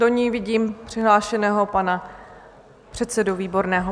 Do ní vidím přihlášeného pana předsedu Výborného.